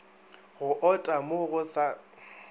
go ota mo go sa